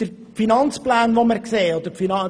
Die Finanzplanung sieht düster aus.